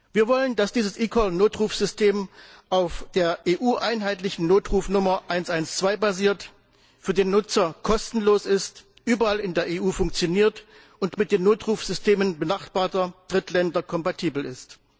Wir wollen, dass dieses eCall Notrufsystem auf der EU einheitlichen Notrufnummer 112 basiert, für den Nutzer kostenlos ist, überall in der EU funktioniert und mit den Notrufsystemen benachbarter Drittländer kompatibel ist.